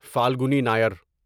Falguni Nayar